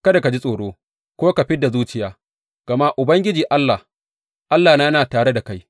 Kada ka ji tsoro ko ka fid da zuciya, gama Ubangiji Allah, Allahna, yana tare da kai.